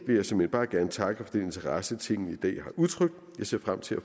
vil jeg såmænd bare gerne takke for den interesse tinget i dag har udtrykt jeg ser frem til at